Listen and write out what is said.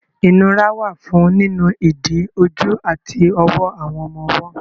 Ìnura wà fún nínu ìdí, ojú àti ọwọ́ àwọn ọmọ ọwọ́.